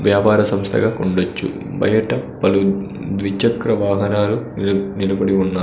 వ్యాపార సంస్థగా కుండచ్చు బయట పలు ద్విచక్ర వాహనాలు నిల్ నిలబడి ఉన్నాయ్.